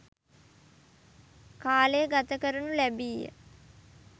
කාලය ගත කරනු ලැබීය.